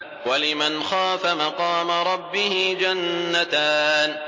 وَلِمَنْ خَافَ مَقَامَ رَبِّهِ جَنَّتَانِ